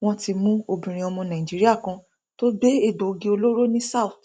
wọn ti mú obìnrin ọmọ nàìjíríà kan tó gbé egbòogi olóró ní south